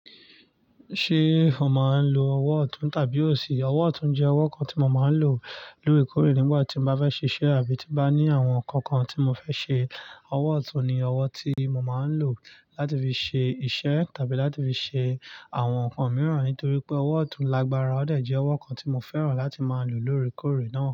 Ṣé o máa ń lo ọwọ́ ọ̀tún tàbí òsì? Ọwọ́ ọ̀tún jẹ́ ọwọ́ kan tí mo máa ń lò, lórí kórè nígbà tí mo bá fẹ́ ṣiṣẹ́ àbí tí bá ní àwọn nǹkan kan tí mo fẹ́ ṣe. Ọwọ́ ọ̀tún ni ọwọ́ tí mo máa ń lò láti fi ṣe iṣẹ́ tàbí láti fi ṣe àwọn nǹkan mìíràn, nítorí pé ọwọ́ ọ̀tún lágbára, ó de jẹ́ ọwọ́ kan tí mo fẹ́ràn láti máa lò lóre kórè náà.